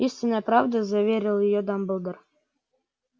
истинная правда заверил её дамблдор